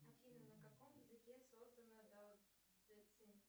афина на каком языке создана